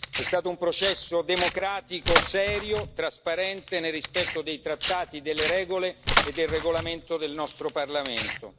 È stato un processo democratico, serio e trasparente, nel rispetto dei trattati e delle regole e del regolamento del nostro Parlamento.